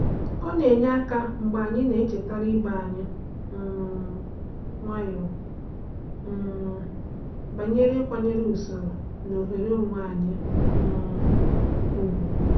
Ọ na-enye aka mgbe anyị na-echetara ibe anyị um nwayọọ um banyere ịkwanyere usoro na oghere onwe anyị um ùgwù.